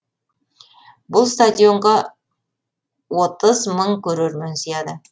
бұл стадионға отыз мың көрермен сияды